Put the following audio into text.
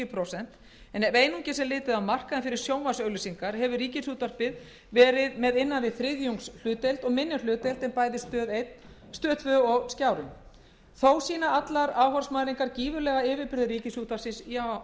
prósent en ef einungis er litið á markaðinn fyrir sjónvarpsauglýsingar hefur rúv verið með innan við þriðjungs hlutdeild og minni hlutdeild en bæði stöð tvö og skjárinn þó sýna allar áhorfsmælingar gífurlega yfirburði ríkisútvarpsins í